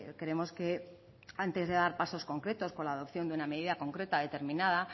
creemos que antes de dar pasos concretos con la adopción de una medida concreta determinada